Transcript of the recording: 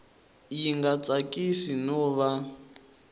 yi nga tsakisi no va